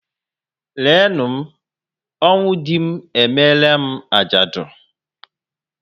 Lee nụ m, ọnwụ dị m emere m ajadu